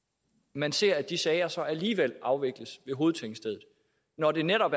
man ser at de sager så alligevel afvikles ved hovedtingstedet når det netop